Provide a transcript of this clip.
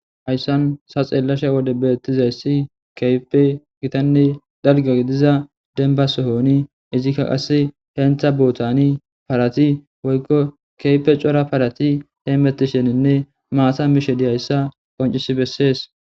Hayssan sa xeellashe wode beettizayssi keype gitanne dalga gidiza denba sohoni izikka qasse hentha bootani parati woykko keype cora parati hee mettisheninne maasa mishe dihayssa qoncis bessees